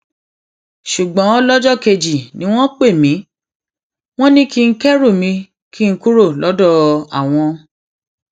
ṣùgbọn lọjọ kejì ni wọn pè mí wọn ní kí n kẹrù mi kí n kúrò lọdọ àwọn